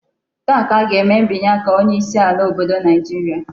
Taa ka a ga-eme mbinye aka onye isi ala obodo Naijiria